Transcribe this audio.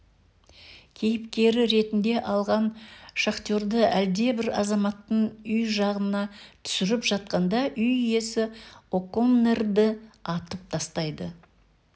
кейіпкері ретінде алған шахтерді әлдебір азаматтың үй жағында түсіріп жатқанда үй иесі оконнерді атып тастайды